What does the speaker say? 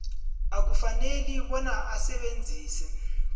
akukafaneli bona asebenzise